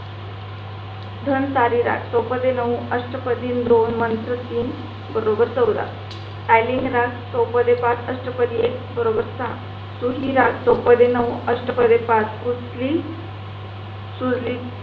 धन सारी रात सोपटे नऊ अष्टपाठी दोन मंत्र तीन बरोबर चौदा आईलिंग रात चौपढे पांच अष्टपाठी एक बरोबर साह सुखी रात सोपटे नऊ अष्टपाठी पांच उसळी सुरली.